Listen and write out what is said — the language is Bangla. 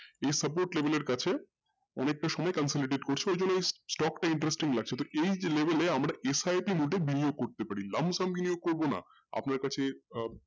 এই support level এর কাছে অনেকটা সময় complicated করছে ওই জন্য stock লাগছে তো এই যে level আমরা SIP mode করতে পারি believe করবো না আপনার কাছে আহ